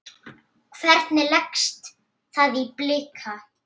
Hvernig leggst það í Blika?